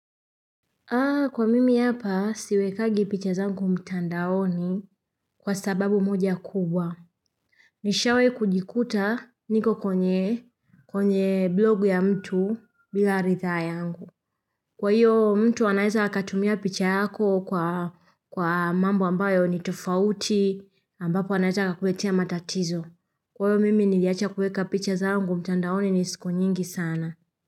Kwa mimi hapa siwekangi picha zangu mtandaoni kwa sababu moja kubwa. Nishawahi kujikuta niko kwenye blogu ya mtu bila ridhaa yangu. Kwa hiyo mtu anaeza akatumia picha yako kwa mambo ambayo ni tofauti ambapo anaeza akakuletea matatizo. Kwa hiyo mimi niliacha kuweka picha zangu mtandaoni ni siku nyingi sana.